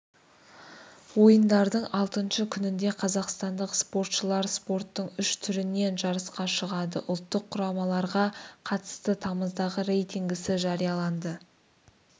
ойындардың алтыншы күнінде қазақстандық спортшылар спорттың үш түрінен жарысқа шығады ұлттық құрамаларға қатысты тамыздағы рейтингісі жарияланды